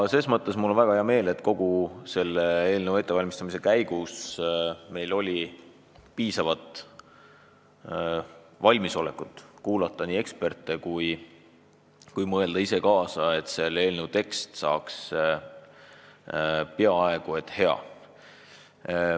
Ses mõttes on mul väga hea meel, et kogu selle eelnõu ettevalmistamise käigus meil oli piisavalt valmisolekut kuulata nii eksperte kui mõelda ise kaasa, et eelnõu tekst saaks hea.